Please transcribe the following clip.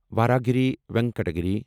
وراہاگری ونکٹا گِرِی